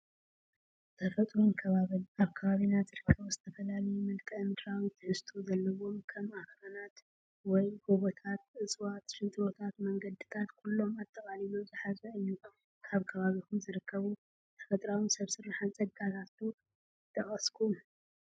ተፈጥሮን ከባብን፡- ኣብ ከባቢና ዝርከቡ ዝተፈላለዩ መልክኣ-ምድራዊ ትሕዝቶ ዘለዎም ከም ኣኽራናት ወይ ጎቦታት፣ እፅዋት፣ ሽንጥሮታትን መንገዲታት ኩሎም ኣጠቓሊሉ ዝሓዘ እዩ፡፡ ካብ ከባቢኹም ዝርከቡ ተፈጥሮኣዊን ሰብ ስራሕን ፀጋታት ዶ ምጠቐስኩም?